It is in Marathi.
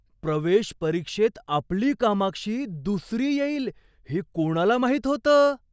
प्रवेश परीक्षेत आपली कामाक्षी दुसरी येईल हे कोणाला माहीत होतं?